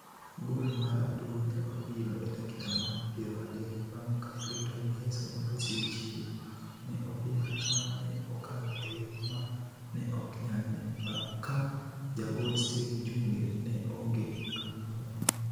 Gool mar Abdul ne obiro e dakika mar piero adek bang' ka Clifton Miheso ne osechiwo ne opira ma ne okalo e yo ma ne ok nyal ne, ka jagol Steve Njunge ne onge kamoro amora.